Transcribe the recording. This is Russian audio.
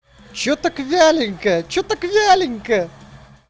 что так вяленько что так валянько